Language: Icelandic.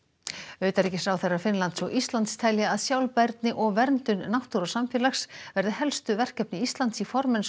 utanríkisráðherrar Finnlands og Íslands telja að sjálfbærni og verndun náttúru og samfélags verði helstu verkefni Íslands í formennsku